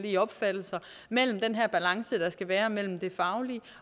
i opfattelser mellem den her balance der skal være mellem det faglige